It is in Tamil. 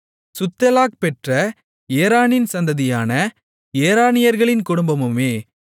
சுத்தெலாக் பெற்ற ஏரானின் சந்ததியான ஏரானியர்களின் குடும்பமுமே